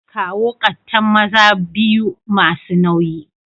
Kawo kattan maza biyu masu nauyi.